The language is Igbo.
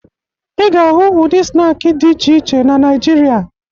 Ị ga-ahụ ụdị snaakị dị iche iche na Naịjirịa